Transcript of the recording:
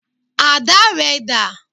Àdá rẹ dà?